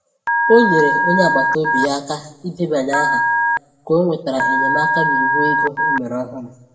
Ọ nyere onye agbata obi ya aka idebanye aha ka o nwetara enyemaka n’iwu ego e mere ọhụrụ.